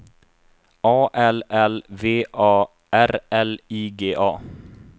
A L L V A R L I G A